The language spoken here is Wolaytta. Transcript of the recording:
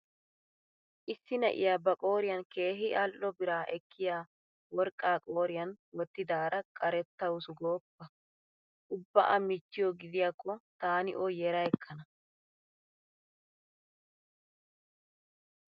Issi na'iya ba qooriyan keehi al"o bira ekkiya worqqaa qooriyan wottidaara qarettawusu gooppa! Ubba A michchiyo gidiyaakko taani o yera ekkana.